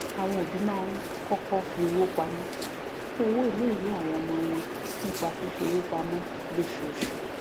àwọn òbí máa ń kọkọ fi owó pamọ fún owó iléìwé àwọn ọmọ wọn nípa fífi owó pamọ lóṣooṣù